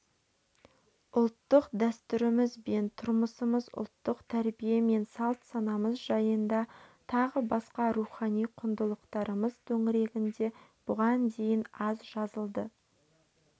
ұлттық дәстүріміз бен тұрмысымыз ұлттық тәрбие мен салт-санамыз жайында тағы басқа рухани құндылықтарымыз төңірегінде бұған дейін аз жазылды